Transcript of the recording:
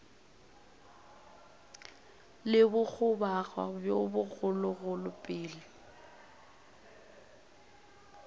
le bogoboga bjo bogologolo pele